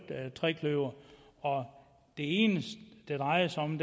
trekløver og det eneste det drejer sig om